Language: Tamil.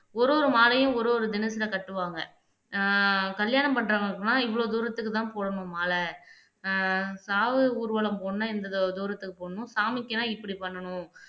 ஒரு ஒரு மாலையும் ஒரு ஒரு தினத்துல கட்டுவாங்க ஆஹ் கல்யாணம் பண்றவங்களுக்கெல்லாம் இவ்வளவு தூரத்துக்குதான் போடணும் மாலை ஆஹ் சாவு ஊர்வலம் போகணும்ன்னா இந்த தூ தூரத்துக்குப் போகணும் சாமிக்குனா இப்படி பண்ணணும்